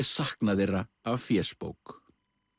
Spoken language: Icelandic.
sakna þeirra af fésbók